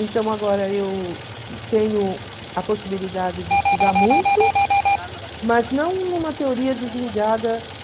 Então agora eu tenho a possibilidade de estudar muito, mas não numa teoria desligada